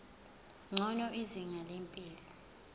ngcono izinga lempilo